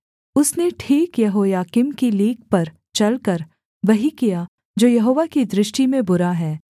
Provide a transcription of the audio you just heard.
उसने ठीक यहोयाकीम की लीक पर चलकर वही किया जो यहोवा की दृष्टि में बुरा है